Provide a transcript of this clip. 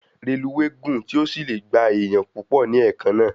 Reluwe gùn tí o sílẹ gbà èèyàn púpọ ní ẹ̀kan na